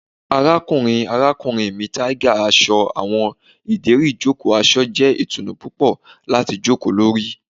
Arakunrin arakunrin mi tiger aṣọ awọn ideri ijoko aṣọ jẹ itunu pupọ lati joko lori